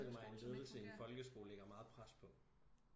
Jeg kan forestille mig en ledelse i en folkeskole ligger meget pres på